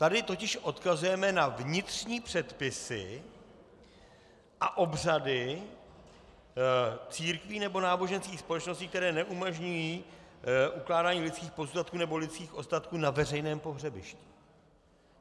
Tady totiž odkazujeme na vnitřní předpisy a obřady církví nebo náboženských společností, které neumožňují ukládání lidských pozůstatků nebo lidských ostatků na veřejném pohřebiště.